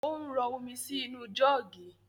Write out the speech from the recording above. Ò ń rọ omi sì inú jọ́ọ́gì